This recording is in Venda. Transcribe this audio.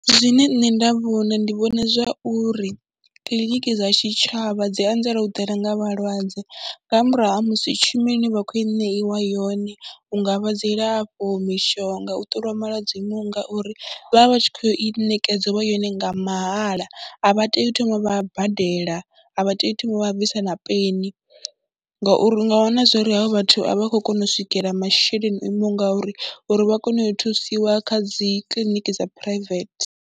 Zwine nṋe nda vhona, ndi vhona zwa uri kiḽiniki dza tshitshavha dzi anzela u ḓala nga vhalwadze nga murahu ha musi tshumelo ine vha khou i ṋeiwa yone hu nga vha dzilafho, mishonga, u ṱoliwa malwadze o imaho nga uri, vha vha vha tshi khou i ṋekedziwa yone nga mahala, a vha tei u thoma vha badela, a vha tei u thoma vha bvisa na peni ngauri u nga wana zwo ri havha vhathu a vha khou kona u swikela masheleni o imaho ngauri uri vha kone u thusiwa kha dzi kiḽiniki dza phuraivethe.